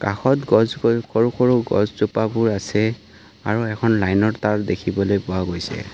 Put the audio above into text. কাষত গছ সৰু-সৰু গছ জোপাহ বোৰ আছে আৰু এখন লাইন ৰ তাঁৰ দেখিবলৈ পোৱা গৈছে।